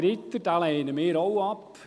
Ritter: Diesen lehnen wir auch ab.